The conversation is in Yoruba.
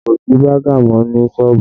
Kò sí baga mọ ní sọ́ọ̀bù